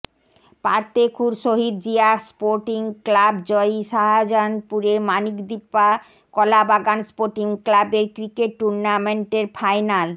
Partekhur Shahid Zia sporting club জয়ী শাজাহানপুরে Manikdipa Kalabagan sporting ক্লাবের ক্রিকেট টুর্ণামেন্টের ফাইনাল